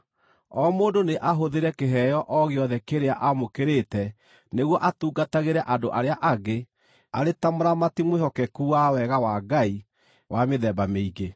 O mũndũ nĩ ahũthĩre kĩheo o gĩothe kĩrĩa amũkĩrĩte nĩguo atungatagĩre andũ arĩa angĩ, arĩ ta mũramati mwĩhokeku wa wega wa Ngai wa mĩthemba mĩingĩ.